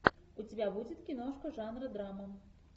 у тебя будет киношка жанра драма